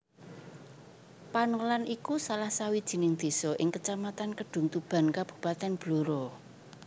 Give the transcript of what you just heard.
Panolan iku salah sawijining désa ing Kecamatan Kedungtuban Kabupatèn Blora